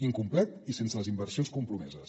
incomplet i sense les inversions compromeses